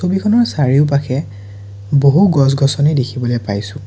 ছবিখনৰ চাৰিওপাশে বহু গছ গছনি দেখিবলৈ পাইছোঁ।